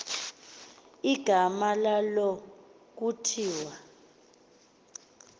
igama lalo kuthiwa